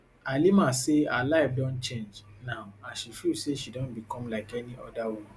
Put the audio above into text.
halima say her life don change now as she feel say she don become like any oda woman